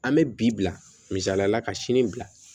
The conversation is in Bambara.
An bɛ bi bila misaliyala ka sini bila